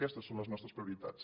aquestes són les nostres prioritats